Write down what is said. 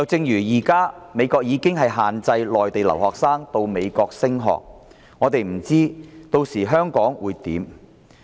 現時美國已限制內地留學生前往美國升學，我們不知道屆時香港的情況會如何。